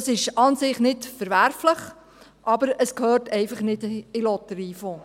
Das ist an und für sich nicht verwerflich, aber es gehört einfach nicht in den Lotteriefonds.